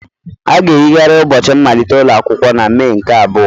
A ga-eyigharị ụbọchị mmalite ụlọ akwụkwọ na Mee nke abụọ.